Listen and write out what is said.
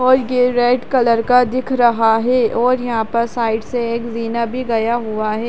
और ये red colour का दिख रहा है और यहाँ पर साइड से एक जीना भी गया हुआ है।